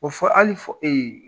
O fɔ hali fɔ